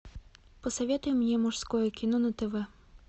посоветуй мне мужское кино на тв